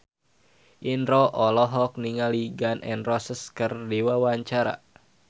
Indro olohok ningali Gun N Roses keur diwawancara